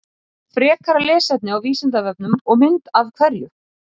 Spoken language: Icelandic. Skerpla er annar mánuður í sumri en skerpla vísar líklegast til lítils gróðurs að vori.